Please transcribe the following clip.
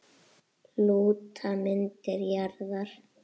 Lúta myndir jarðar.